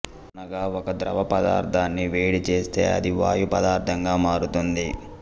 అనగా ఒక ద్రవపదార్థాన్ని వేడి చేస్తే అది వాయు పదార్థంగా మారుతుంది